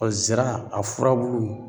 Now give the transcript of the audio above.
zira a furabulu